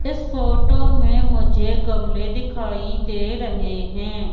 इस फोटो में मुझे गमले दिखाई दे रहें हैं।